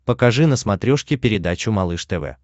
покажи на смотрешке передачу малыш тв